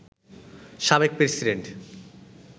সাবেক প্রেসিডেন্ট